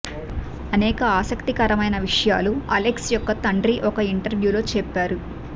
అనేక ఆసక్తికరమైన విషయాలు అలెక్స్ యొక్క తండ్రి ఒక ఇంటర్వ్యూలో చెప్పారు